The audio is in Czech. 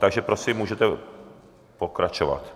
Takže prosím, můžete pokračovat.